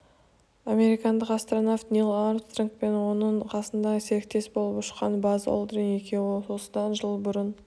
американдық астронавт нил армстронг пен оның қасында серіктес болып ұшқан базз олдрин екеуі осыдан жыл бұрын